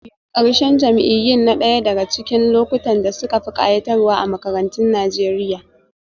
Ƙarshen jam'iyyun na ɗaya daga cikin lokutan da suka fi kayatarwa a makarantun Najeriya